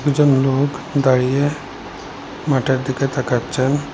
দুজন লোক দাঁড়িয়ে মাঠের দিকে তাকাচ্ছেন।